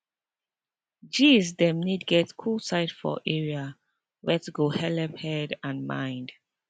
gees dem need get cool side for area wet go helep head and mind